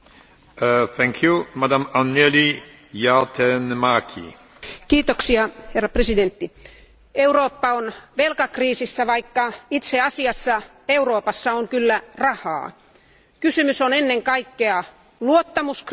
Arvoisa puhemies, Eurooppa on velkakriisissä, vaikka itse asiassa Euroopassa on kyllä rahaa. Kysymys on ennen kaikkea luottamuskriisistä, uskottavuuskriisistä.